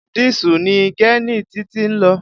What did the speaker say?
Dísù ni gẹ́ẹ̀nì Títí ń lò.